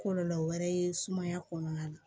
Kɔlɔlɔ wɛrɛ ye sumaya kɔnɔna na